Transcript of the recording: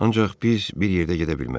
Ancaq biz bir yerdə gedə bilmərik.